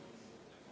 Palun!